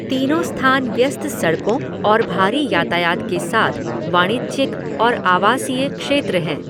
तीनों स्थान व्यस्त सड़कों और भारी यातायात के साथ वाणिज्यिक और आवासीय क्षेत्र हैं।